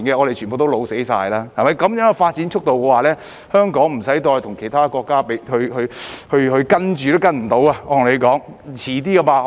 按照這樣的發展速度，香港再不用與其他國家比較了，因為根本無法可追得上。